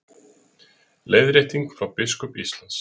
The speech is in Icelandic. Leiðrétting frá biskup Íslands